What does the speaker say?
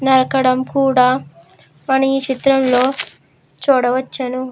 నరకడం కూడా మనం ఈ చిత్రంలో చూడవచ్చును.